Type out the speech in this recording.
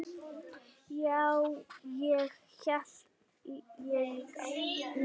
Já, það held ég líka.